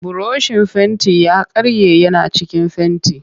Burushin fentin ya karye yana cikin fenti